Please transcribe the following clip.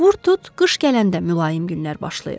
Vur tut qış gələndə mülayim günlər başlayır.